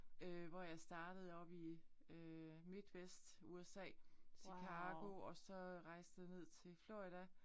Øh hvor jeg startede oppe i øh Midwest USA Chicago og så rejste jeg ned til Florida